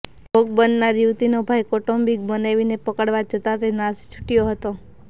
ભોગ બનનાર યુવતીનો ભાઈ કૌટુંબિક બનેવીને પકડવા જતા તે નાશી છૂટ્યો હતો